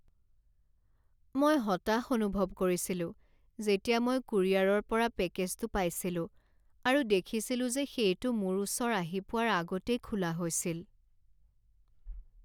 মই হতাশ অনুভৱ কৰিছিলো যেতিয়া মই কুৰিয়াৰৰ পৰা পেকেজটো পাইছিলো আৰু দেখিছিলো যে সেইটো মোৰ ওচৰ আহি পোৱাৰ আগতেই খোলা হৈছিল।